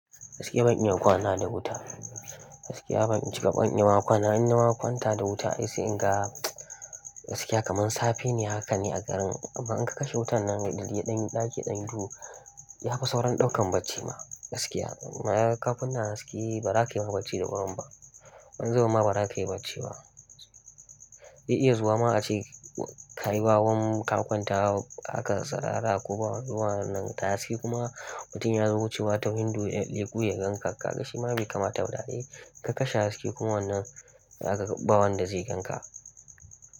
Gaskiya ban iya kwana da wuta. Gaskiya ban in cika ban iya ma kwana. Inna ma kwanta da wuta, sai in ga kamar safe ne haka ne a garin. Amma in ka kashe wutan nan gari ɗan ɗaki ɗan duhu, ya fi sauran ɗaukan bacci ma gaskiya. Amma ka kunna haske ba za ka yi ma bacci da wurin ba. Wani zubin ma ba za ka yi bacci ba. Ze iya zuwa ma a ce kai wawan ka kwanta haka sarara ko ba wannan nan ta sai kuma mutum ya zo wucewa ta window ya leko ya ganka. Kaka shi ma bai kamata ba. Da'a yi ka kashe haske kuma wannan haka bawan da zai ganka.